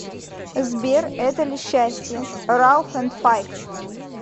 сбер это ли счастье рауф энд файк